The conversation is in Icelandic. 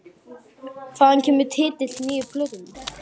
Hvaðan kemur titill nýju plötunnar?